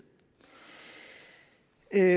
at